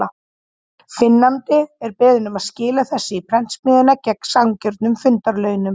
Finnandi er beðinn um að skila þessu í prentsmiðjuna, gegn sanngjörnum fundarlaunum.